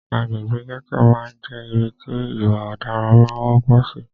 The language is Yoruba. Agbègbè gẹ́tò máà ń jẹ́ ibi tí ìwà ọ̀daran máà ń wọ́pọ̀ sì.